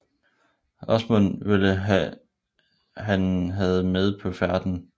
Åsmund ville han havde med på færden